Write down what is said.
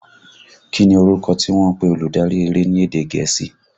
Kí ni orúkọ tí wọ́n ń pe olùdarí eré ni èdè gẹ̀ẹ́sì?